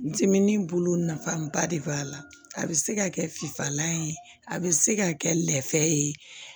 Dimi bolo nafaba de b'a la a bɛ se ka kɛ finfalan ye a bɛ se ka kɛ lɛfɛ ye